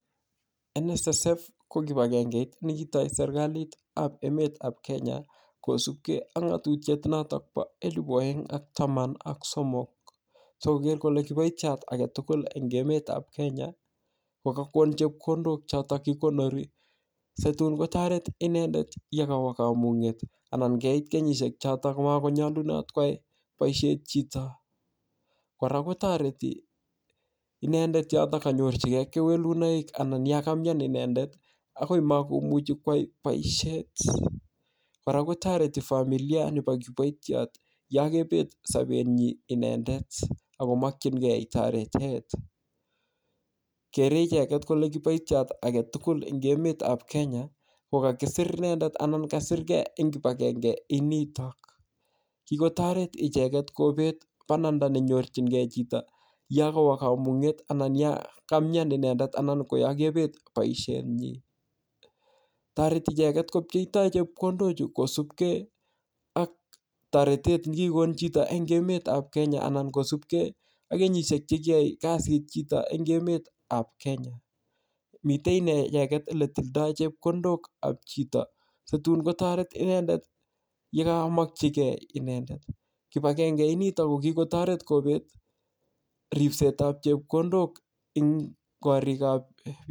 NSSF ko kibagengeit ne kitoi sereklit ap emet ap Kenya, kosupkei ak ngatutiet notok po elepu aeng ak taman ak somok. Sikoker kole kiboitiot age tugul eng eme ap Kenya, kokakon chepkondok chotok kikonori. Si tun kotoret inendet yekowo kamung'et, anan kait kenyishek chotok kokakonyolunot koai boisiet chito. Kora kotoreti inendet yotok kanyorchikei kewelunoik anan yakamyan inendet akoi makomuchi kwai boisiet. Kora kotoreti familia nepo kiboitiot yokebet sapet nyii inendet, akomakchinkei torotet. Kere icheket kole kiboitiot age tugul eng emet ap Kenya, ko kakisir inendet anan kasirkei eng kibagenge initok. Kikotoret icheket kobet bananda nenyorchinkei chito, yekowo kamunget anan yakamyan inendet anan ko yakebet boisiet. Toreti icheket kopcheitoi chepkondok chu kosupkei ak torotet nekikon chito eng emet ap Kenya anan kosupkei ak kenyishiek che kiyae kasit chit eng emet ap Kenya. Mitei inee icheket ole tildoi chekondok ap chito, si tun kotoret inendet yekamakchinkei inendet. Kibagenge initok ko kikotoret kobet ripset ap chepkondok eng korik ap